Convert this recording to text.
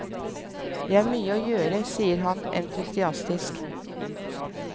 Det er mye å gjøre, sier han entusiastisk.